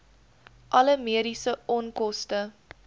alle mediese onkoste